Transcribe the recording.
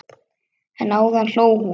En áðan hló hún.